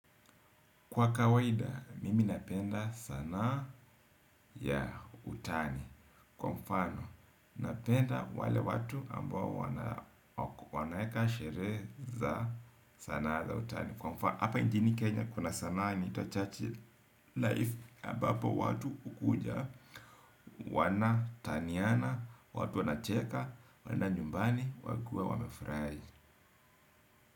Kwa kawaida, mimi napenda sanaa ya utani. Kwa mfano, napenda wale watu ambao wanaeka sherehe za sanaa za utani. Kwa mfano, hapa nchini Kenya kuna sanaa, inaitwa Churchill life ambapo watu hukuja, wanataniana, watu wanacheka, wanaenda nyumbani, wakiwa wamefurahi.